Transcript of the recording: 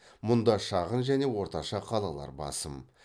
мұнда шағын және орташа қалалар басым